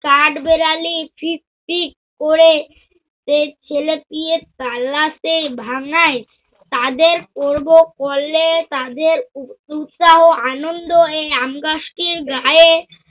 কাঠবেড়ালি ফিট ফিট করে সে ছেলে টি এ তালাতে ভাঙ্গায়, তাদের পরব কলে তাদের উ~ উ~ উৎসাহ আনন্দ এই আমগাছটির গাঁয়ে